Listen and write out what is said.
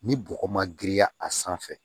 Ni bɔgɔ ma girinya a sanfɛ